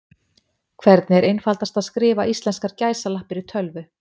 Hvernig er einfaldast að skrifa íslenskar gæsalappir í tölvu?